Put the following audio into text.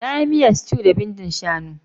Na yi miyan stew da bindin shanu.